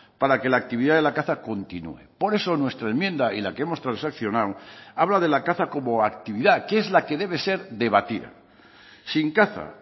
para que la actividad de la caza continúe por eso nuestra enmienda y la que hemos transaccionado habla de la caza como actividad que es la que debe ser debatida sin caza